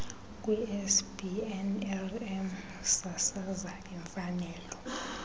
kwicbnrm sasaza imfanelo